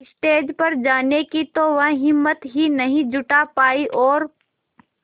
stage पर जाने की तो वह हिम्मत ही नहीं जुटा पाई और